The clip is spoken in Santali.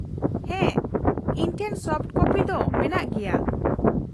-ᱦᱮᱸ ᱤᱧ ᱴᱷᱮᱱ ᱥᱚᱯᱷᱚᱴ ᱠᱚᱯᱤ ᱫᱚ ᱢᱮᱱᱟᱜ ᱜᱮᱭᱟ ᱾